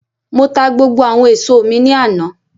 Mo ta gbogbo àwọn èso mi ní àná